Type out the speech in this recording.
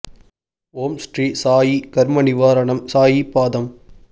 ஓம் ஸ்ரீ சாயி கர்மநிவாரணம் சாயி பாதம்